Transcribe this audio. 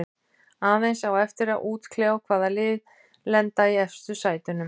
Aðeins á eftir að útkljá hvaða lið lenda í efstu sætunum.